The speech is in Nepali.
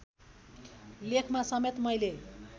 लेखमा समेत मैले